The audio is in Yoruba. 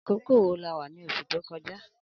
Akókó wó là wà ni óṣú tókọ̀já?